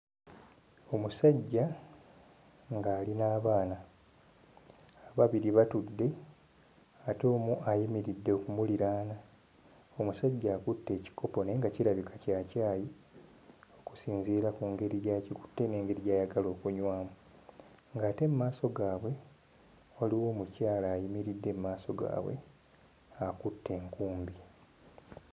Omusajja nga ali n'abaana; ababiri batudde ate omu ayimiridde okumuliraana. Omusajja akutte ekikopo naye nga kirabika kya caayi okusinziira ku ngeri gy'akikutte n'engeri gy'ayagala okunywamu, ng'ate mu maaso gaabwe waliwo omukyala ayimiridde mu maaso gaabwe, akutte enkumbi.